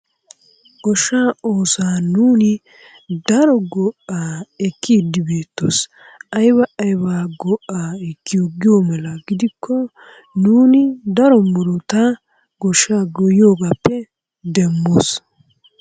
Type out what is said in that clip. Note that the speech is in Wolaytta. Goshaa oosuwa nuuni daro go'aa ekkidi beettoos, ayba ayba go'aa ekkiyo giyo mala gidikko nuuni daro murutaa goshshaa goyiyoogappe demmoos.